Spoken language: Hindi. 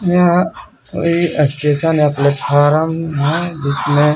यह कोई स्टेशन या प्लेटफार्म है जिसमें--